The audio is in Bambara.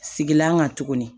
Sigilan kan tuguni